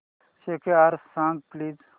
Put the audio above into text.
score सांग please